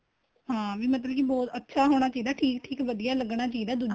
ਹਾਂ ਵੀ ਮਤਲਬ ਕੀ ਹੋਰ ਅੱਛਾ ਹੋਣਾ ਚਾਹੀਦਾ ਏ ਠੀਕ ਠੀਕ ਵਧੀਆ ਲੱਗਣਾ ਚਾਹੀਦਾ ਏ ਦੂਜੇ ਨੂੰ